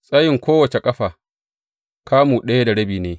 Tsayin kowace ƙafa kamu ɗaya da rabi ne.